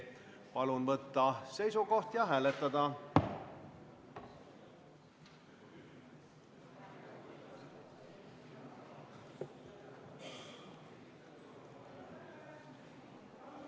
Palun võtta seisukoht ja hääletada!